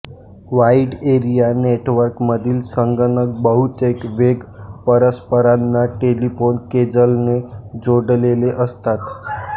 wide area network मधील संगणक बहुतेक वेग परस्परांना टेलिफोन केजलने जोडलेले असतात